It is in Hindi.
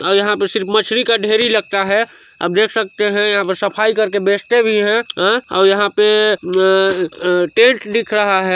--और यहाँ पे सिर्फ मछरी का ढेरी लगता है आप देख सकते है यहाँ पे सफाई करके बेचते भी है ऐ और यहां पे ऐ-ऐ टेंट दिख रहा है।